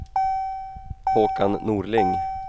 Håkan Norling